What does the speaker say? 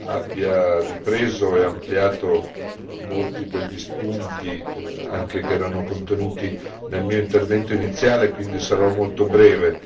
abbia ripreso e ampliato molti degli spunti che erano contenuti nel mio intervento iniziale e quindi sarò molto breve.